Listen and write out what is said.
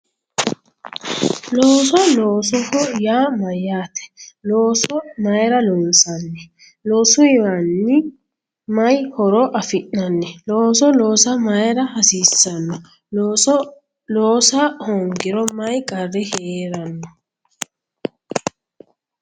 Looso loosoho yaa mayyate looso mayra loonsanni loosuyiwiinni mayi horo afi'nanni looso loosa mayra hasiissanno looso oosa hoongiro mayi qarri heeranno